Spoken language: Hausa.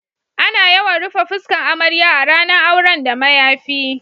Ana yawan rufe fuskan amarya a ranan auren da mayafi.